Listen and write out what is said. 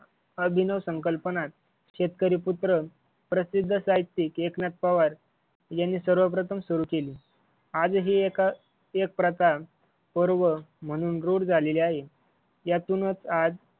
अभिनव संकल्पनात शेतकरीपुत्र प्रसिद्ध साहित्यिक एकनाथ पवार यांनी सर्वप्रथम सुरू केली. आजही एक